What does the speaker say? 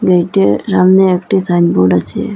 গেইটের সামনে একটি সাইনবোর্ড আছে।